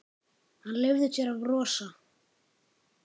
Hann leyfði sér að brosa.